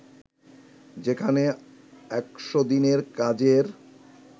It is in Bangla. যেখানে ১০০ দিনের কাজের